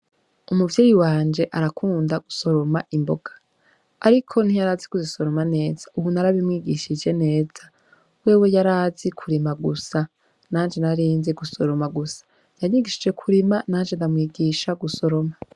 Umuvyeyi wanje arakunda gusoroma imboga, ariko ntiyarazi kuzisoroma neza ubu narabimwigishije neza, wewe yarazi kurima gusa nanje narinzi gusoroma gusa, yanyigishije kurima nanje ndamwigisha gusoroma.